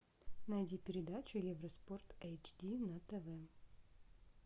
найди передачу евроспорт эйч ди на тв